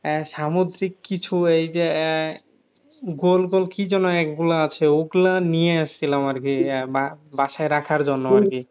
আহ সামুদ্রিক কিছু এই যে আহ গোল গোল কি যেন এগুলা আছে ওগুলা নিয়ে আসছিলাম আরকি আহ বা~বাসায় রাখার জন্য আর কি